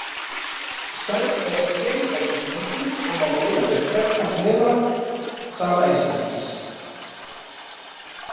Stærð þess er einstaklingsbundin og má miða við krepptan hnefa sama einstaklings.